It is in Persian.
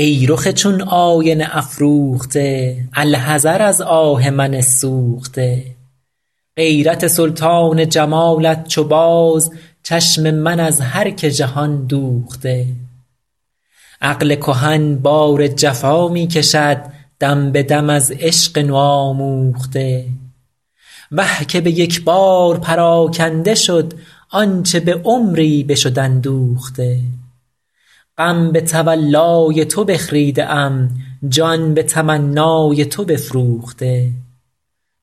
ای رخ چون آینه افروخته الحذر از آه من سوخته غیرت سلطان جمالت چو باز چشم من از هر که جهان دوخته عقل کهن بار جفا می کشد دم به دم از عشق نوآموخته وه که به یک بار پراکنده شد آنچه به عمری بشد اندوخته غم به تولای تو بخریده ام جان به تمنای تو بفروخته